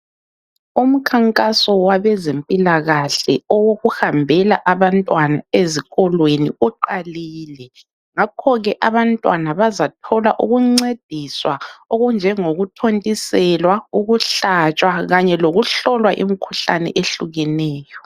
Umkhankaso wabezempilakahle owokuhambela abantwana ezikolweni uqalile. Ngakhoke abantwana bazathola ukuncediswa okunjengokuthontiselwa, ukuhlatshwa, kanye lokuhlolwa imkhuhlane ehlukahlukeneyo.